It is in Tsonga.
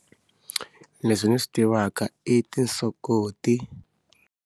Leswi ni swi tivaka i tinsokoti.